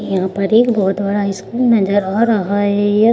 यहाँ पर एक बहोत बड़ा स्कूल नज़र आ रहा है यह।